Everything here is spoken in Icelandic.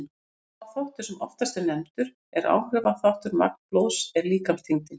Sá þáttur sem oftast er nefndur sem áhrifaþáttur á magn blóðs er líkamsþyngdin.